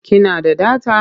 Ki na da data?